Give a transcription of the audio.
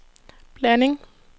blanding